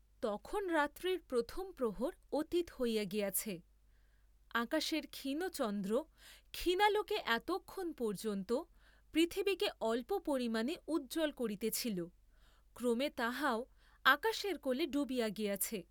তখন রাত্রির প্রথম প্রহর অতীত হইয়া গিয়াছে, আকাশের ক্ষীণ চন্দ্র ক্ষীণালোকে এতক্ষণ পর্য্যন্ত পৃথিবীকে অল্প পরিমাণে উজ্জ্বল করিতেছিল, ক্রমে তাহাও আকাশের কোলে ডুবিয়া গিয়াছে।